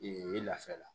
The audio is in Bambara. Ee lafiya la